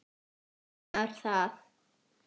Þá veit maður það.